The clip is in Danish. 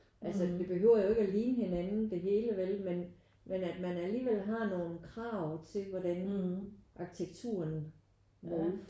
Altså det behøver jo ikke at ligne hinanden det hele vel men men at man alligevel har nogle krav til hvordan arkitekturen udformes